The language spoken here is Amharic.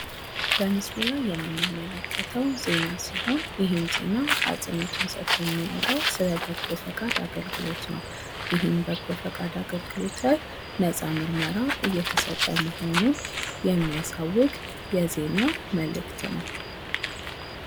በምስሉ ላይ የምንመለከተው ዜና ሲሆን ይህ ዜና አጽኖት ሰጥቶ የሚያወራው ስለ በጎ ፍቃድ አገልግሎት ነው። ይህም በጎ ፍቃድ አገልግሎት ላይ ነፃ ምርመራ እየተሰጠ መሆኑን የሚያሳውቅ የዜና መልእክት ነው።